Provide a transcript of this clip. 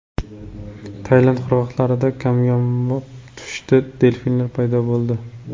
Tailand qirg‘oqlarida kamyob pushti delfinlar paydo bo‘ldi.